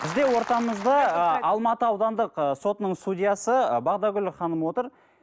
бізде ортамызда ы алматы аудандық ы сотының судьясы ы бағдагүл ханым отыр